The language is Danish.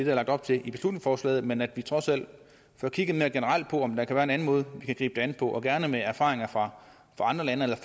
er lagt op til i beslutningsforslaget men at vi trods alt får kigget mere generelt på om der kan være en anden måde vi kan gribe det an på og gerne med erfaringer fra andre lande eller at